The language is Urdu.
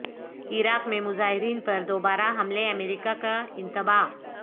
عراق میں مظاہرین پر دوبارہ حملے امریکہ کا انتباہ